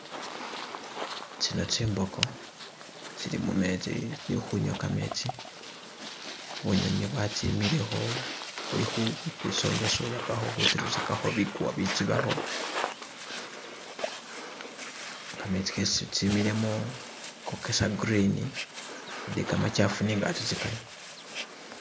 Tsino tsimbogo tsili mumetsi tsili kunywa kametsi bunyunyi bwatsimilekho buli khuji sonya sonya pakha khujirugakho biguwa bijibakho kametsi gesi tsimilemo gogesa green ndi kamachafu nega tso tsiganywa.